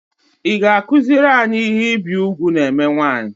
I ga -akuzuri anyị ihe ibi ùgwù na eme nwaanyị?